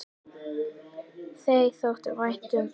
Þér þótti vænt um það.